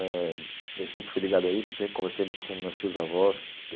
Eh eu sempre fui ligado a isso, sempre conversei muito com meus tios-avós.